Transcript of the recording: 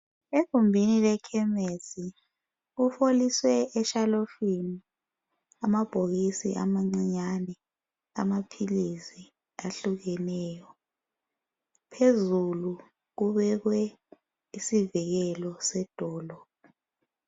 Egumbini lekhemisi kuheliswe eshelufini amabhokisi amancinyane amaphilisi ahlukeneyo .Phezulu kubekwe isivikelo sedolo.